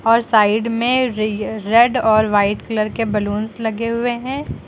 और साइड में रि रेड और वाइट कलर के बलूंस लगे हुए हैं।